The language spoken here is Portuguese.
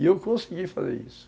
E eu consegui fazer isso.